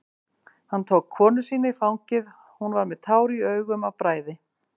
Hann tók konu sína í fangið, hún var með tár í augum af bræði.